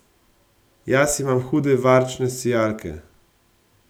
Jaz imam hude varčne sijalke!